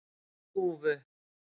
Þúfu